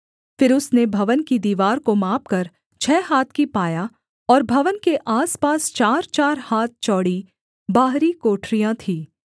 फिर उसने भवन की दीवार को मापकर छः हाथ की पाया और भवन के आसपास चारचार हाथ चौड़ी बाहरी कोठरियाँ थीं